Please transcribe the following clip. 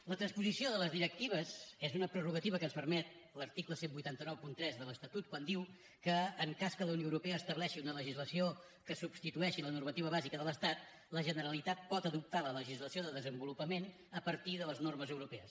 la transposició de les directives és una prerrogativa que ens permet l’article divuit noranta tres de l’estatut quan diu que en cas que la unió europea estableixi una legislació que substitueixi la normativa bàsica de l’estat la generalitat pot adoptar la legislació de desenvolupament a partir de les normes europees